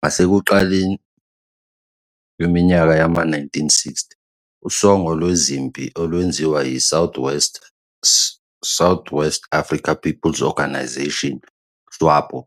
Ngasekuqaleni kweminyaka yama-1960, usongo lwezempi olwenziwa yiSouth-West Africa People's Organisation, SWAPO,